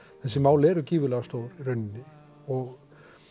þessi mál eru gífurlega stór í rauninni og